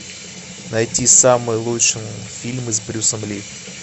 найти самые лучшие фильмы с брюсом ли